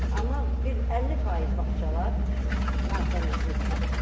Amma bir 50% bağçalar natəmizlikdir.